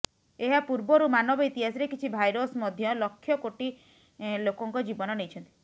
ଏହା ପୂର୍ବରୁ ମାନବ ଇତିହାସରେ କିଛି ଭାଇରସ୍ ମଧ୍ୟ ଲକ୍ଷ କୋଟି ଲୋକଙ୍କ ଜୀବନ ନେଇଛନ୍ତି